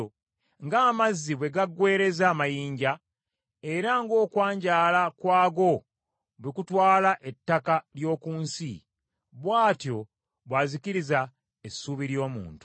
ng’amazzi bwe gaggwereeza amayinja era ng’okwanjaala kwago bwe kutwala ettaka ly’oku nsi; bw’atyo bw’azikiriza essuubi ly’omuntu.